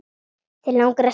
Þig langar að snerta mig.